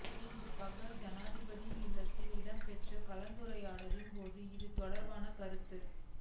இன்று பகல் ஜனாதிபதியின் இல்லத்தில் இடம்பெற்ற கலந்துரையாடலின் போதே இது தொடர்பாக கருத்து